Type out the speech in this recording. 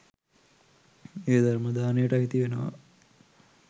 එය ධර්ම දානයට අයිති වෙනවා.